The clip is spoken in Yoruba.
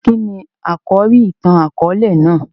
Kíni àkòrí ìtàn-àkóòlè náà?